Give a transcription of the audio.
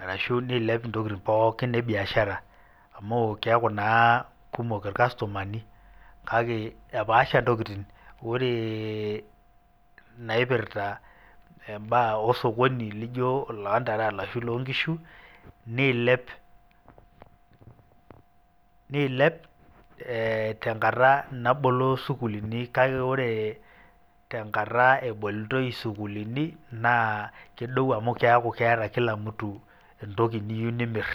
arashu neilep intokitin pookin ebiashara amu keeku naa kumok ilkastomani kake epaasha intokitin ore naipirsta embaa o sokoni laijo oloontare arashu oloo ngishu neilep tengata nabolo sukuulini kake ore tengata ebolitoi esukuulini naa kedou amu keeku keeta kila mtu entoki niyieu nimirr.